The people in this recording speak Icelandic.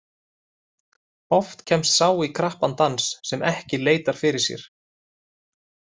Oft kemst sá í krappan dans sem ekki leitar fyrir sér.